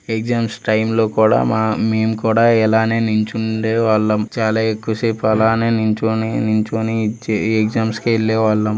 Exams time లో కూడా మేము కూడా ఇలానే నిల్చుండే వాళ్ళం చాలా ఎక్కువ సేపు అలానే నిలుచొని నించొని ఎగ్జామ్స్ కి వెళ్లే వాళ్ళు.